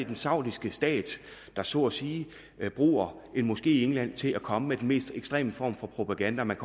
den saudiske stat der så at sige bruger en moské i england til at komme med den mest ekstreme form for propaganda man